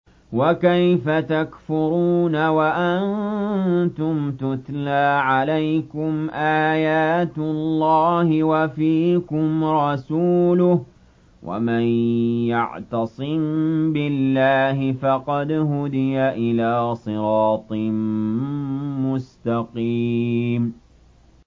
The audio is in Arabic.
وَكَيْفَ تَكْفُرُونَ وَأَنتُمْ تُتْلَىٰ عَلَيْكُمْ آيَاتُ اللَّهِ وَفِيكُمْ رَسُولُهُ ۗ وَمَن يَعْتَصِم بِاللَّهِ فَقَدْ هُدِيَ إِلَىٰ صِرَاطٍ مُّسْتَقِيمٍ